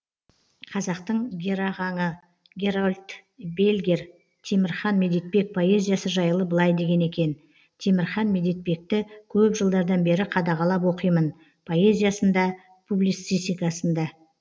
қазақтың герағаңы герольд бельгер темірхан медетбек поэзиясы жайлы былай деген екен темірхан медетбекті көп жылдардан бері қадағалап оқимын поэзиясын да публицистикасын да